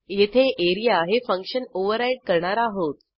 येथे एआरईए हे function override करणार आहोत